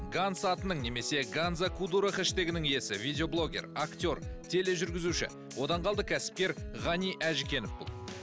ганс атының немесе ганза кудуро хештегінің иесі видеоблогер актер тележүргізуші одан қалды кәсіпкер ғани әжікенов бұл